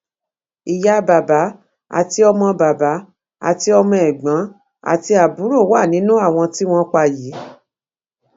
ìyá bàbá àti ọmọ bàbá àti ọmọ ẹgbọn àti àbúrò wà nínú àwọn tí wọn pa yìí